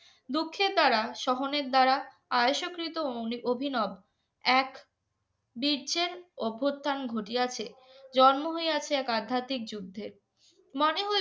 দুঃখে তারা সোহানের দ্বারা আইসকিত অভিনব এক বিজ্যের অবথান ঘটিযাচ্ছে জন্ম হইয়াছে এক আধ্যাতিক যুদ্ধের মনে হয়